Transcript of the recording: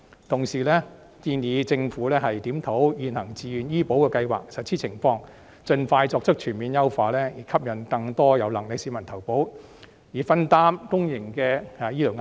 同時，我們亦建議政府檢討現行自願醫保計劃的實施情況，盡快全面優化，吸引更多有能力的市民投保，分擔公營醫療壓力。